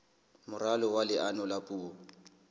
moralo wa leano la puo